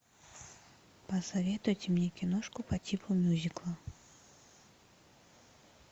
посоветуйте мне киношку по типу мюзикла